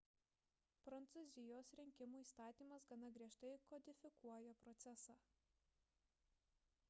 prancūzijos rinkimų įstatymas gana griežtai kodifikuoja procesą